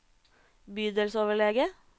bydelsoverlege